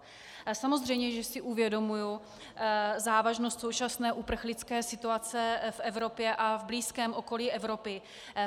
Samozřejmě, že si uvědomuji závažnost současné uprchlické situace v Evropě a v blízkém okolí Evropy.